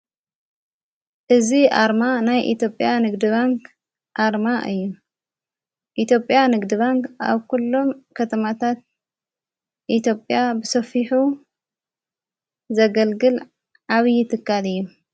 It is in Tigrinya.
እዝ ኣርማ ናይ ኢቲጵያ ንግድባንቅ ኣርማ እዩ ኢቴጵያ ንግድባንቅ ኣብ ኲሎም ከተማታት ኢቲጵያ ብሰፊሑ ዘገልግል ዓብዪ ትካል እዩ።